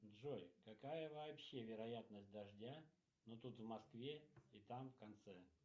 джой какая вообще вероятность дождя ну тут в москве и там в конце